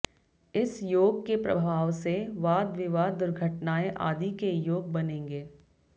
इस योग के प्रभाव से वाद विवाद दुघर्टनाएं आदि के योग बनेंगे